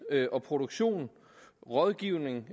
og produktion rådgivning